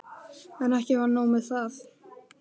En ekki var nóg með það.